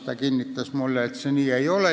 Ta kinnitas mulle, et nii see ei ole.